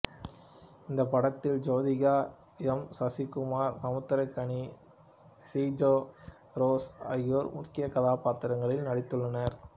இந்த படத்தில் Jyothika M Sasikumar Samuthirakani Sija Rose ஆகியோர் முக்கிய கதாபாத்திரங்களில் நடித்துள்ளனர்